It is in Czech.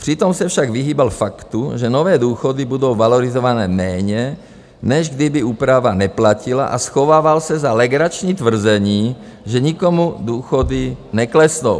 Přitom se však vyhýbal faktu, že nové důchody budou valorizované méně, než kdyby úprava neplatila, a schovával se za legrační tvrzení, že nikomu důchody neklesnou.